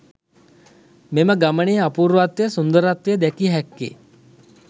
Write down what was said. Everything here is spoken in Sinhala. මෙම ගමනේ අපූර්වත්වය, සුන්දරත්වය දැකිය හැක්කේ